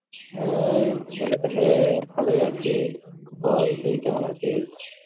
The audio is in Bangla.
এই চলছে তো ভালোই আছি। বল, তুই কেমন আছিস?